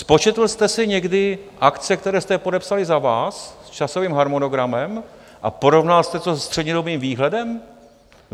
Spočetl jste si někdy akce, které jste podepsali za vás, s časovým harmonogramem, a porovnal jste to se střednědobým výhledem?